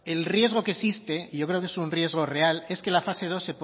el riesgo que existe y yo creo que es un riesgo real es que la fase dos